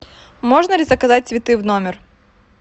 можно ли заказать цветы в номер